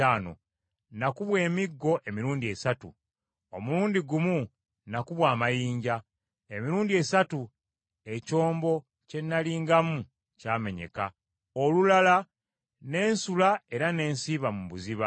Nakubwa emiggo emirundi esatu. Omulundi gumu nakubwa amayinja. Emirundi esatu ekyombo kye nalingamu kyamenyeka. Olulala ne nsula era ne nsiiba mu buziba.